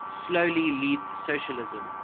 slowly leads socialism